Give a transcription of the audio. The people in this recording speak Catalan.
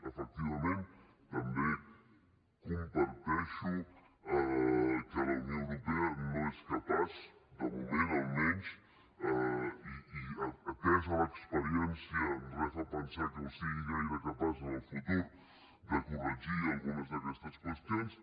efectivament també comparteixo que la unió europea no és capaç de moment almenys i atesa l’experiència re fa pensar que en sigui gaire capaç en el futur de corregir algunes d’aquestes qüestions